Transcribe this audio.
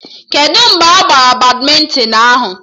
Kedụ mgbe a gbara badmịntịn ahụ?